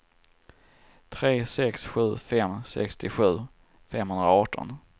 tre sex sju fem sextiosju femhundraarton